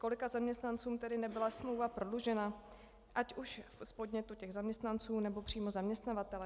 Kolika zaměstnancům tedy nebyla smlouva prodloužena, ať už z podnětu těch zaměstnanců, nebo přímo zaměstnavatele?